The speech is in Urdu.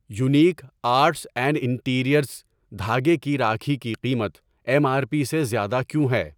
یونیک آرٹس اینڈ انٹیریئرز دھاگے کی راکھی کی قیمت ایم آر پی سے زیادہ کیوں ہے؟